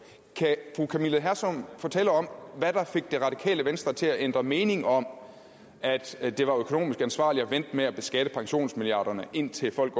kan fru camilla hersom fortælle om hvad der fik det radikale venstre til at ændre mening om at det var økonomisk ansvarligt at vente med at beskatte pensionsmilliarderne indtil folk